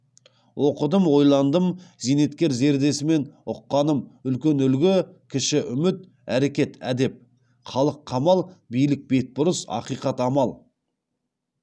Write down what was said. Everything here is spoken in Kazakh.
оқыдым ойландым зейнеткер зердесімен ұққаным үлкен үлгі кіші үміт әрекет әдеп халық қамал билік бетбұрыс ақиқат амал